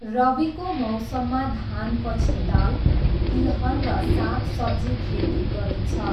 रविको मौसममा धानपछि दाल, तिलहन र साग सब्जी खेती गरिन्छ।